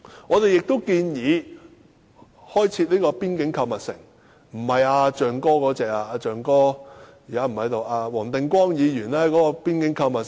我們亦建議開設邊境購物城，但並非如"象哥"牽頭的那種購物城。